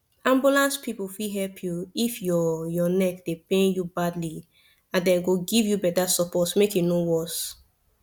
ambulance people fit help you if your your neck dey pain you badly and dem go give you better support make e no worse